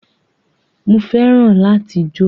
Mo fẹ́ràn láti jó